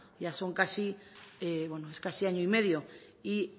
ya son casi es casi año y medio y